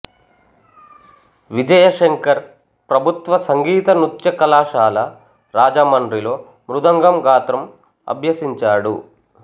విజయశంకర్ ప్రభుత్వ సంగీతనృత్య కళాశాల రాజమండ్రిలో మృదంగం గాత్రం అభ్యసించాడు